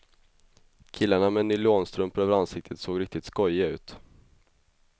Killarna med nylonstrumpor över ansiktet såg riktigt skojiga ut.